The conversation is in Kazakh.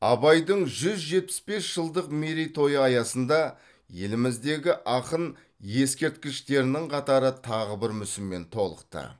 абайдың жүз жетпіс бес жылдық мерейтойы аясында еліміздегі ақын ескерткіштерінің қатары тағы бір мүсінмен толықты